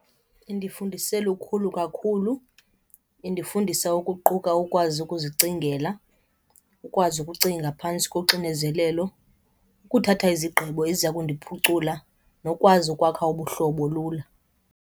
Indifundise lukhulu kakhulu. Indifundisa ukuquka ukwazi ukuzicingela, ukwazi ukucinga phantsi koxinezelelo, ukuthatha izigqibo eziya kundiphucula nokwazi ukwakha ubuhlobo lula.